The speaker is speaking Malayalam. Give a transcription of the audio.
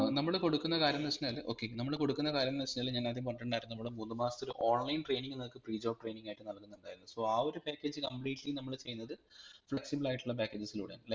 ഏർ നമ്മൾ കൊടുക്കുന്ന കാര്യംന്ന് വെച്ചഴിഞ്ഞാൽ okay നമ്മൾ കൊടുക്കുന്ന കാര്യംന്ന് വെച്ചഴിഞ്ഞാൽ ഞാൻ അദ്യം പറഞ്ഞിട്ടുണ്ടായിരുന്നു നമ്മൾ മൂന്ന് മാസത്തെ ഒരു online training നിങ്ങൾക്ക് pre job training ആയിട്ട് നൽകുന്നുണ്ടായിരുന്നു so ആ ഒരു package completely നമ്മൾ ചെയ്യുന്നത് flexible ആയിട്ടുള്ള packages ലൂടെ ആണ്